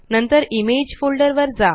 नंतर image folder वर जा